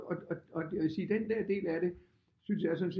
Og jeg vil sige den der del af det synes jeg så